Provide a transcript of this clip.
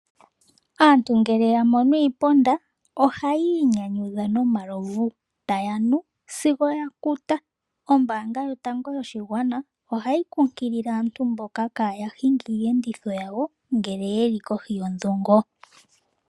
Aantu ngele ya mono iiponda oha yiinyanyudha no malovu, taya nu sigo ya kuta. Ombaanga yotango yoshigwana ohayi kunkilile aantu mboka kaaya hinge iiyenditho yawo ngele yeli kohi yondhungo.